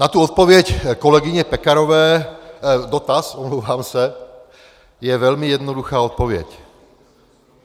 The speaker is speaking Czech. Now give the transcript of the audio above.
Na tu odpověď kolegyně Pekarové, dotaz, omlouvám se, je velmi jednoduchá odpověď.